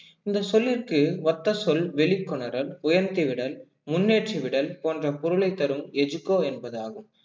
இந்தச் சொல்லிற்கு ஒத்த சொல் வெளிக்கொணரல், உயர்த்தி விடல், முன்னேற்றி விடல், போன்ற பொருளைத் தரும் educo என்பதாகும்